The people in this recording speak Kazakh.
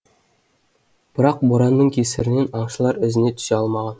бірақ боранның кесірінен аңшылар ізіне түсе алмаған